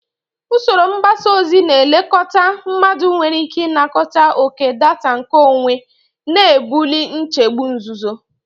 Usoro mgbasa ozi na-elekọta mmadụ nwere ike ịnakọta oke data nkeonwe, na-ebuli nchegbu nzuzo.